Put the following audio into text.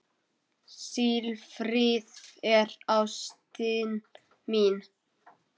Silfrið er ástin mín.